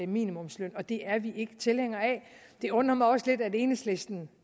minimumsløn og det er vi ikke tilhængere af det undrer mig også lidt at enhedslisten